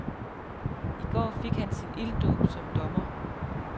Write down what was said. I går fik han sin ilddåb som dommer.